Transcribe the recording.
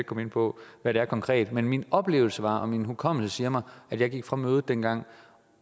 komme ind på hvad det konkret er men min oplevelse var og min hukommelse siger mig at jeg gik fra mødet dengang